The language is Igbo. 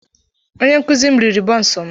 Onye nkuzi m riri bonsu m.